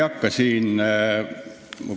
Head kolleegid!